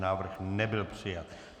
Návrh nebyl přijat.